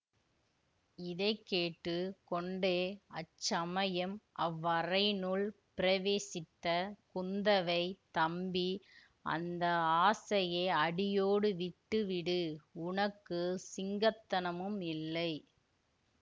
இதை கேட்டு கொண்டே அச்சமயம் அவ்வறையினுள் பிரவேசித்த குந்தவை தம்பி அந்த ஆசையை அடியோடு விட்டுவிடு உனக்கு சிங்கத்தனமும் இல்லை